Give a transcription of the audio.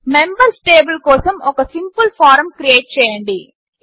members table కోసం ఒక simple form create చేయండి